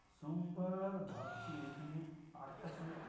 সোমবার ভাবছি ওইখানে আটটা শুনেছি।